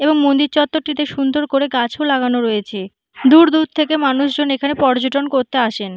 এবং মন্দির চত্বরটি তে সুন্দর করে গাছ লাগানো রয়েছে। দূর দূর থেকে মানুষজন এখানে পর্যটন করতে আসেন।